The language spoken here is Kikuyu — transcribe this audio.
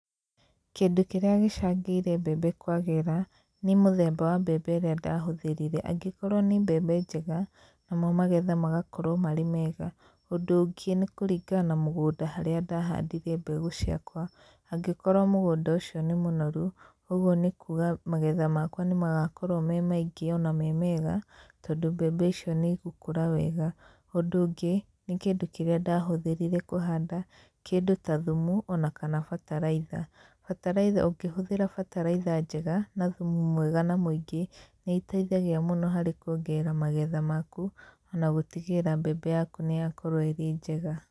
Kĩndũ kĩrĩa gĩcangĩire mbembe kwagĩra nĩ mũthemba wa mbembe ĩrĩa ndahũthĩrire, angĩkorwo nĩ mbembe njega namo magetha magakorwo marĩ mega. Ũndũ ũngĩ nĩ kũringana na mũgũnda harĩa ndahandire mbegũ ciakwa, angĩkorwo mũgũnda ũcio nĩ mũnoru ũgwo nĩ kuuga magetha makwa nĩmagakorwo me maingĩ ona me mega, tondũ mbembe icio nĩ igũkũra wega. Ũndũ ũngĩ nĩ kĩndũ kĩrĩa ndahũthĩrire kũhanda, kĩndũ ta thumu ona kana bataraitha. Bataraitha, ũkĩhũthĩra bataraitha njega na thumu mwega na mũingĩ nĩ iteithagia mũno harĩ kũongerera magetha maku, ona gũtigĩrĩra mbembe yaku nĩyakorwo ĩrĩ njega.